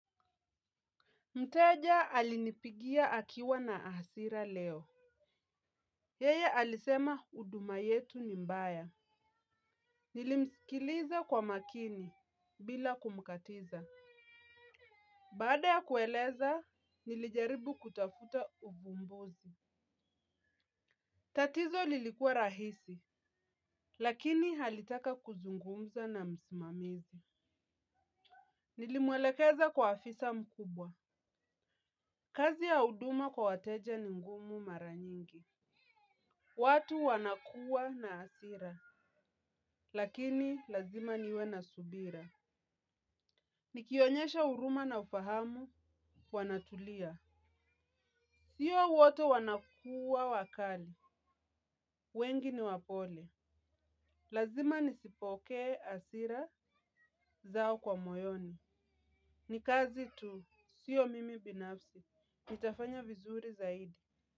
Mteja alinipigia akiwa na hasira leo. Yeye alisema uduma yetu ni mbaya. Nilimsikiliza kwa makini bila kumkatiza. Baada ya kueleza nilijaribu kutafuta uvumbuzi. Tatizo lilikua rahisi, lakini alitaka kuzungumza na msimamizi. Nilimwelekeza kwa afisa mkubwa. Kazi ya uduma kwa wateja ni ngumu mara nyingi. Watu wanakua na asira, lakini lazima niwe na subira. Nikionyesha huruma na ufahamu wanatulia. Sio wote wanakua wakali, wengi ni wapole. Lazima nisipokee asira zao kwa moyoni. Ni kazi tu, sio mimi binafsi, nitafanya vizuri zaidi.